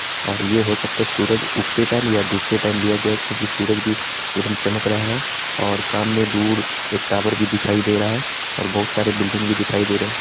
और ये हो सकता है सूरज उगते टाइम या डूबते टाइम लिया गया क्यूंकि सूरज भी एकदम चमक रहा है और सामने दूर एक टॉवर भी दिखाई दे रहा है और बहुत सारे बिल्डिंग भी दिखाई दे रहे।